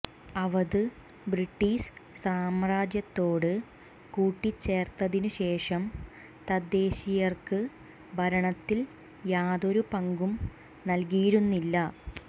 Awadh British സാമ്രാജ്യത്തോട് കൂട്ടിച്ചേർത്തതിനുശേഷം തദ്ദേശീയർക്ക് ഭരണത്തിൽ യാതൊരു പങ്കും നൽക്ിയിരുന്നില്ല